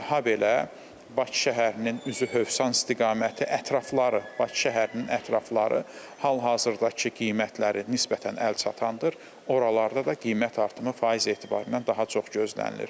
Habelə Bakı şəhərinin üzü Hövsan istiqaməti, ətrafları, Bakı şəhərinin ətrafları hal-hazırdakı qiymətləri nisbətən əlçatandır, oralarda da qiymət artımı faiz etibarilə daha çox gözlənilir.